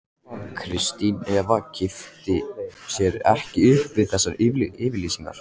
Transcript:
Kristín Eva kippti sér ekki upp við þessa yfirlýsingu.